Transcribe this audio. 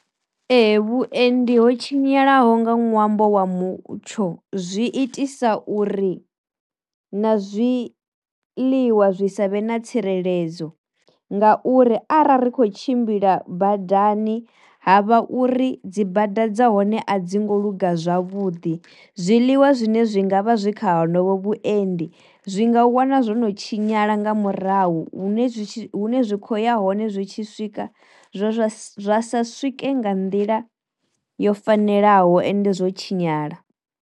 Ee vhuendi ho tshinyalaho nga ṅwambo wa mutsho zwi itisa uri na zwi ḽiwa zwi savhe na tsireledzo, nga uri arali ri kho tshimbila badani havha uri dzi bada dza hone a dzi ngo luga zwavhuḓi zwiḽiwa zwine zwi ngavha zwi kha honovho vhuendi zwi nga wana zwo no tshinyala nga murahu hune zwi tshi zwi kho ya hone zwi tshi swika zwa zwa sa swike nga nḓila yo fanelaho ende zwo tshinyala.